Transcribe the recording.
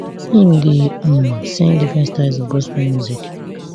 im dey um sing different styles of gospel music